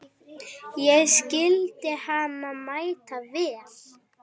Ég skildi hann mæta vel.